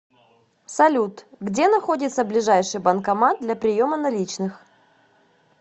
салют где находится ближайший банкомат для приема наличных